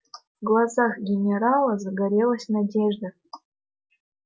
в глазах генерала загорелась надежда